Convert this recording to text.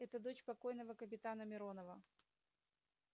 это дочь покойного капитана миронова